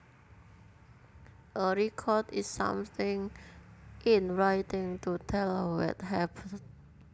A record is something in writing to tell what happened